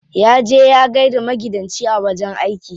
Ya je ya gaida maigidanci a wajen aiki.